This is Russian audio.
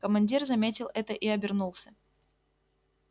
командир заметил это и обернулся